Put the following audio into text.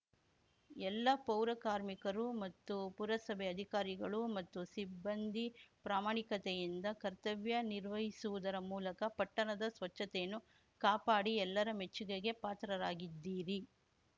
ಎಲ್ಲ ಪೌರಕಾರ್ಮಿಕರು ಮತ್ತು ಪುರಸಭೆ ಅಧಿಕಾರಿಗಳು ಮತ್ತು ಸಿಬ್ಬಂದಿ ಪ್ರಾಮಾಣಿಕತೆಯಿಂದ ಕರ್ತವ್ಯ ನಿರ್ವಹಿಸುವುದರ ಮೂಲಕ ಪಟ್ಟಣದ ಸ್ವಚ್ಚತೆಯನ್ನು ಕಾಪಾಡಿ ಎಲ್ಲರ ಮೆಚ್ಚುಗೆಗೆ ಪಾತ್ರರಾಗಿದ್ದೀರಿ